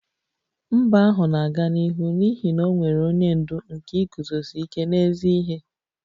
Mba ahụ na-aga n'ihu n'ihi na o nwere onye ndu nke iguzosi ike n'ezi ihe